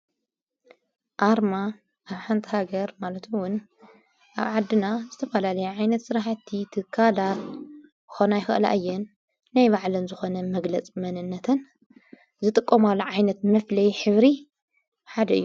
ኣርማ ኣብ ሓንቲ ሃገር ማለትውን ኣብ ዓድና ዝተፈላለየ ዓይነት ሥራሕቲ ትካላ ኾና ኣይኽእላእየን ናይ ባዕለን ዝኾነ መግለጽ መንነትን ዝጥቆማሉ ዓይነት መፍለይ ሒብሪ ሓደ እዮ።